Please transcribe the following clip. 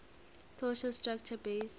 social structure based